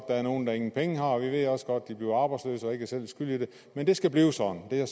der er nogle der ingen penge har og vi ved også godt at de bliver arbejdsløse og ikke selv er skyld i det men det skal blive sådan det er